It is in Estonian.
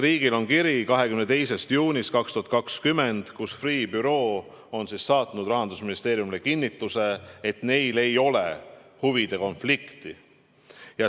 Meil on kiri 22. juunist 2020, millega Freeh' büroo on saatnud Rahandusministeeriumile kinnituse, et neil ei ole huvide konflikti.